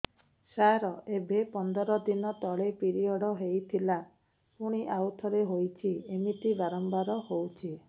ସାର ଏବେ ପନ୍ଦର ଦିନ ତଳେ ପିରିଅଡ଼ ହୋଇଥିଲା ପୁଣି ଆଉଥରେ ହୋଇଛି ଏମିତି ବାରମ୍ବାର ହଉଛି